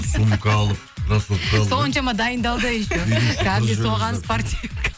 сумка алып крассовка алып соншама дайындалды еще кәдімгідей соған спортивка